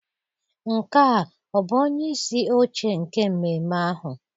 Nke a ọ bụ onyeisi oche nke mmemme ahụ?